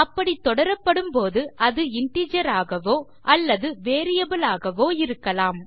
அப்படி தொடரப்படும் போது அது இன்டிஜர் ஆகவோ அல்லது வேரியபிள் ஆகவோ இருக்கலாம்